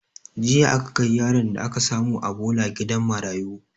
Jiya aka kai yaron da aka samu a bola gidan marayu